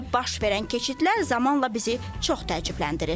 Dəbdə baş verən keçidlər zamanla bizi çox təəccübləndirir.